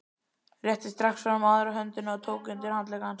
Rétti strax fram aðra höndina og tók undir handlegg hans.